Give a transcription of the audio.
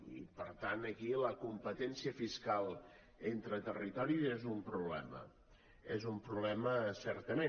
i per tant aquí la competència fiscal entre territoris és un problema és un problema certament